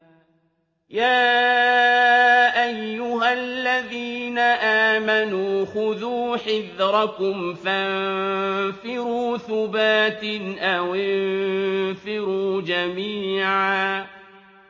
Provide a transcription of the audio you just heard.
يَا أَيُّهَا الَّذِينَ آمَنُوا خُذُوا حِذْرَكُمْ فَانفِرُوا ثُبَاتٍ أَوِ انفِرُوا جَمِيعًا